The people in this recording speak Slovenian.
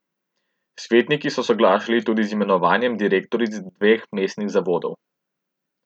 Svetniki so soglašali tudi z imenovanjem direktoric dveh mestnih zavodov.